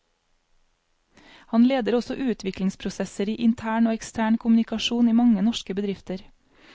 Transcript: Han leder også utviklingsprosesser i intern og ekstern kommunikasjon i mange norske bedrifter.